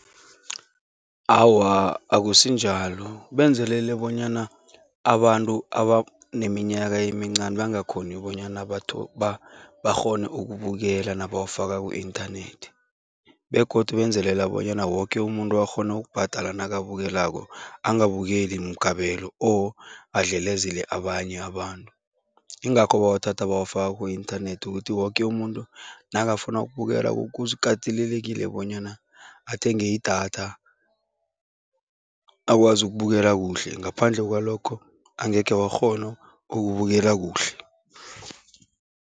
Awa, akusinjalo. Benzelele bonyana abantu abaneminyaka emincani bangakghoni bonyana bakghone ukubukela nabawafaka ku-inthanethi begodu benzelela bonyana woke umuntu akghone ukubhadala nakabukelako, angabukeli mukabelo or adlelezele abanye abantu, yingakho bawathatha bawafaka ku-inthanethi ukuthi woke umuntu nakafuna ukubukela kukatelelekile bonyana athenge idatha akwazi ukubukela kuhle ngaphandle kwalokho, angekhe wakghona ukubukela kuhle.